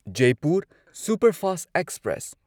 Jaipur superfast express